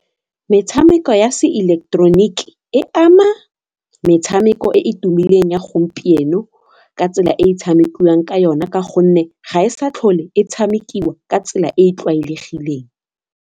metshameko ya se ileketeroniki e ama metshameko e e tumileng ya gompieno ka tsela e e tshamekiwang ka yona ka gonne ga e sa tlhole e tshamekiwa ka tsela e e tlwaelegileng.